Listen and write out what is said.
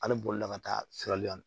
Hali bolila ka taa siri yani